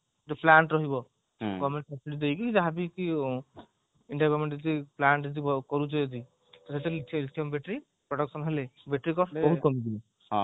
ଗୋଟେ plant ରହିବ ଯାହାବିକି plant ଯଦି କରୁଚେ କିଛି ତା ସେଥିରେ battery production ହେଲେ battery cost ବହୁତ କମିଯିବ